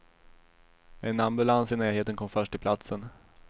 En ambulans i närheten kom först till platsen.